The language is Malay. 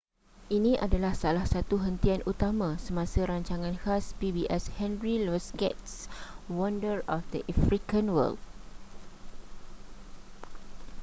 ini adalah salah satu hentian utama semasa rancangan khas pbs henry louis gates wonders of the african world